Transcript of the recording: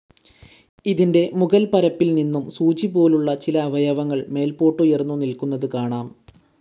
ഇതിൻ്റെ മുകൽപ്പരപ്പിൽനിന്നും സൂചിപോലുള്ള ചില അവയവങ്ങൾ മേൽപ്പോട്ടുയർന്നു നിൽക്കുന്നത് കാണാം.